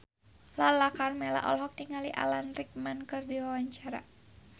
Lala Karmela olohok ningali Alan Rickman keur diwawancara